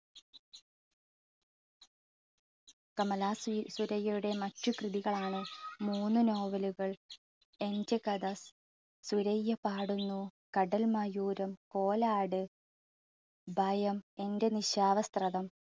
കമലാ സു~സുരയ്യയുടെ മറ്റു കൃതികളാണ് മൂന്ന് നോവലുകൾ, എൻറെ കഥ, സുരയ്യ പാടുന്നു, കടൽ മയൂരം, കോലാട്, ഭയം, എൻറെ നിശാവസ്ത്രതം